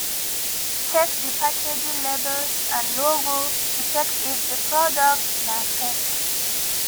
check di packaging labels and logo to check if di product na fake